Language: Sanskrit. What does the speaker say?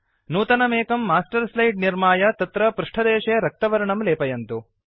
नूतनम् एकं मास्टर् स्लाइड् निर्माय तत्र पृष्टदेशे रक्तवर्णं लेपयन्तु